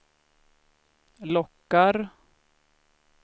lockar